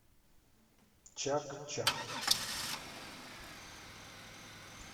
чак чак